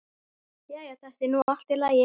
Jæja, þetta er nú allt í lagi.